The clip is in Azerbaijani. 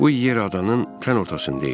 Bu yer adanın tam ortasındaydı.